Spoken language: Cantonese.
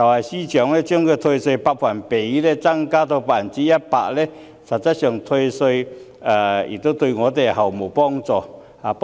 司長把退稅百分比增加至 100%， 實質上對他們毫無幫助。